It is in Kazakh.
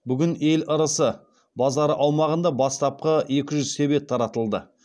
бүгін ел ырысы базары аумағында бастапқы екі жүз себет таратылды